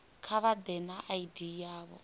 kha vha ḓe na id yavho